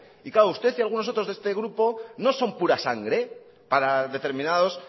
y claro usted y algunos otros de este grupo no son pura sangre para determinados